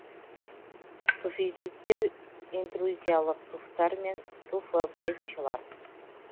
туффизиттер интрузиялық туфтар мен туфобрекчиялар